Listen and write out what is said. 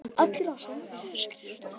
Allir á sömu skrifstofu.